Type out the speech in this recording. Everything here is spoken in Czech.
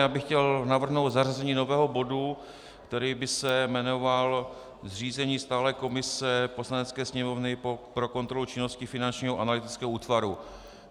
Já bych chtěl navrhnout zařazení nového bodu, který by se jmenoval zřízení stálé komise Poslanecké sněmovny pro kontrolu činnosti Finančního analytického útvaru.